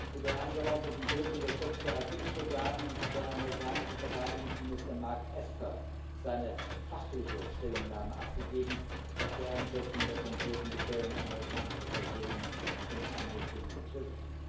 Zu der angeordneten Tötung des Chefs der Qods Brigaden hat der amerikanische Verteidigungsminister Mark Esper seine fachliche Stellungnahme abgegeben, was die Einschätzung der konkreten Gefährdung amerikanischer Personen und Einrichtungen betrifft.